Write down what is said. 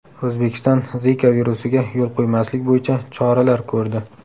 O‘zbekiston Zika virusiga yo‘l qo‘ymaslik bo‘yicha choralar ko‘rdi .